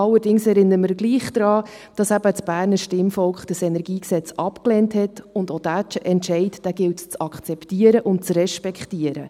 Allerdings erinnern wir zugleich daran, dass eben das Berner Stimmvolk das KEnG abgelehnt hat, und auch diesen Entscheid gilt es zu akzeptieren und zu respektieren.